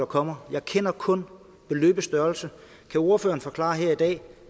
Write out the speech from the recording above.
kommer jeg kender kun beløbets størrelse kan ordføreren forklare her i dag